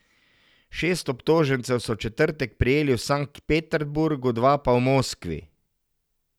Šest obtožencev so v četrtek prijeli v Sankt Peterburgu, dva pa v Moskvi.